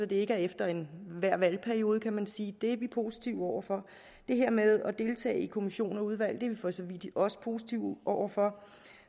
det ikke er efter enhver valgperiode kan man sige er vi positive over for det her med at deltage i kommissioner og udvalg er vi for så vidt også positive over for